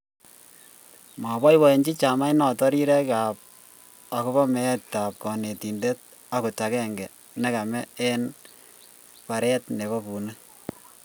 moboibochini chamainoto rirek akobo meetab konetin akot agenge nekame eng baret nebo bunik